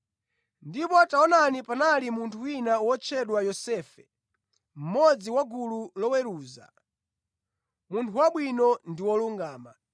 Ndipo taonani panali munthu wina wotchedwa Yosefe, mmodzi wa gulu loweruza, munthu wabwino ndi wolungama.